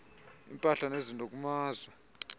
impahla nezinto kumazwe